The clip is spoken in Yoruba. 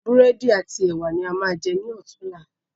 Búrẹ́dì ati ẹwà ni a máa jẹ ní ọ̀tunla.